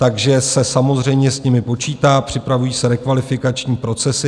Takže se samozřejmě s nimi počítá, připravují se rekvalifikační procesy.